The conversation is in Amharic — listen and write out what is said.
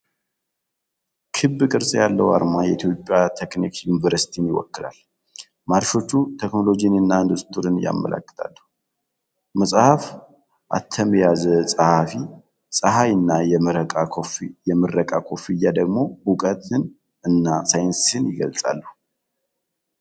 ክብ ቅርጽ ያለው አርማ የኢትዮጵያ ቴክኒክ ዩኒቨርሲቲን ይወክላል። ማርሾች ቴክኖሎጂንና ኢንዱስትሪን ያመለክታሉ። መጽሐፍ፣ አተም የያዘ ፀሐይ እና የምረቃ ኮፍያ ደግሞ እውቀትን እና ሳይንስን ይገልጻሉ።